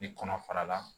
I kɔnɔ fara la